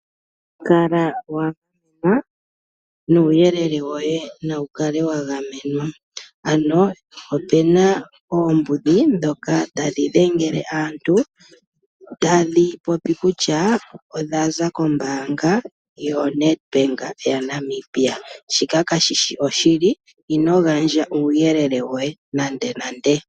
Kala wa gamenwa nuuyelele woye nawu kale wa gamenwa ,ano o pu na oombudhi ndhoka ta dhi dhengele aantu tadhi popi kutya odhaza kombaanga koNedbank yaNamibia. Shika ka shi shi oshili ,ino gandja uuyelele woye nande nande.